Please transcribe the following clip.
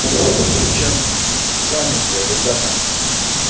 чем заняты ребята